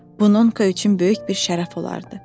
Bu Nonka üçün böyük bir şərəf olardı.